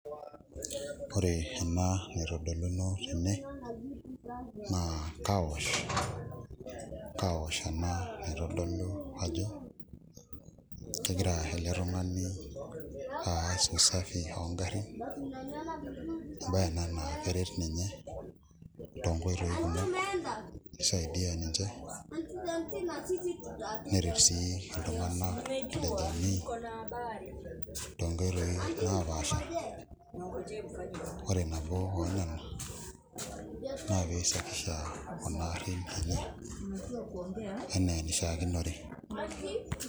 Ore ena naitodoluno tene naa carwash, carwash ena naitodolu ajo kegira ele tung'ani aas usafi oo ngarrin embaye ena naa keret ninye toonkoisaidia toonkoitoi kumok nisaidia ninche neret sii iltung'anak toonkoitoi naapaasha ore naa pee isafisha kuna aarin eney enaa enishiakinore.